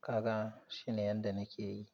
Kaga shine yanda nake yi.